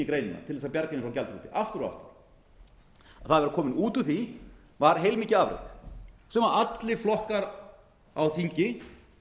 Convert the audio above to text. og aftur það að vera komin út úr því var heilmikið afrek sem allir flokkar á þingi